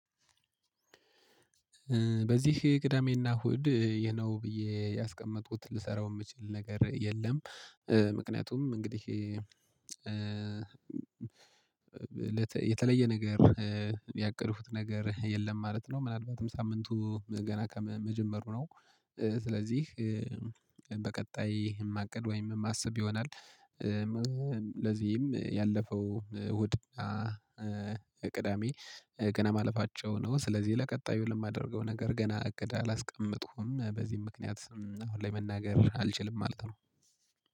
በዚህ ቅዳሜና እሁድ ይሄ ነው ብዬ ያስቀመጥኩት ልሰራው የምችል ነገር የለም። ምክንያቱም እንግዲህ የተለየ ነገር ያቀድኩት ነገር የለም ማለት ነው። ምናልባትም ሳምንቱ ገና ከመጀመሩ ነው። ስለዚህ በቀጣይ ማቀድ ወይም ማሰብ ይሆናል። ለዚህም ያለፈው እሁድና ቅዳሜ ገና ማለፋቸው ነው። ስለዚህ ለቀጣዩ ለማደርገው ነገር ገና እቅድ አላስቀምጥኩም በዚህም ምክንያት አሁን ላይ መናገር አልችልም። ማለት ነው